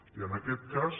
i en aquest cas